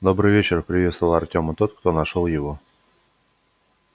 добрый вечер приветствовал артема тот кто нашёл его